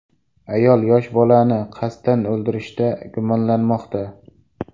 Ayol yosh bolani qasddan o‘ldirishda gumonlanmoqda.